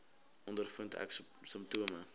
ondervind ek simptome